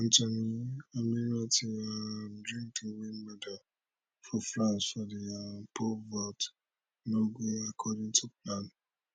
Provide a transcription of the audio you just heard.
anthony ammirati um dream to win medal for france for di um pole vault no go according to plan